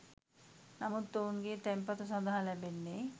නමුත් ඔවුන්ගේ තැන්පතු සඳහා ලැබෙන්නේ